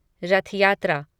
रथ यात्रा